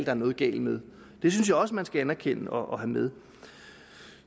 er noget galt med det synes jeg også man skal anerkende og have med